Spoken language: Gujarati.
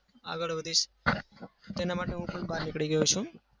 આગળ વધીશ. એના માટે હું પણ બહાર નીકળી ગયો છું.